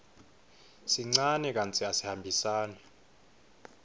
sincane kantsi asihambisani